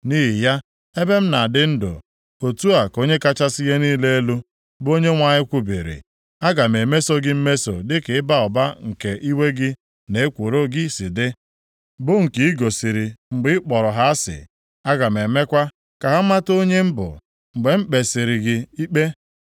Nʼihi ya, ebe m na-adị ndụ, otu a ka Onye kachasị ihe niile elu, bụ Onyenwe anyị kwubiri, aga m emeso gị mmeso dịka ịba ụba nke iwe gị na ekworo gị si dị, bụ nke i gosiri mgbe ị kpọrọ ha asị. Aga m emekwa ka ha mata onye m bụ, mgbe m kpesịrị gị ikpe.